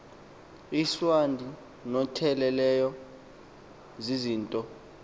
iincwadi notyelelo zizinto